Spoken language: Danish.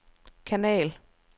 kanal